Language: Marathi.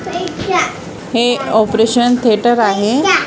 हे ऑपरेशन थेटर आहे.